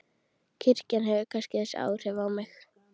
Kirkjan hefur kannski þessi áhrif á mig.